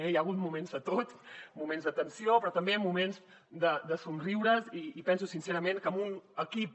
hi ha hagut moments de tot moments de tensió però també moments de somriures i penso sincerament que amb un equip